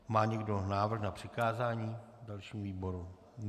Má někdo návrh na přikázání dalšímu výboru?